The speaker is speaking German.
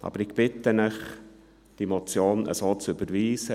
Aber ich bitte Sie, diese Motion so zu überweisen.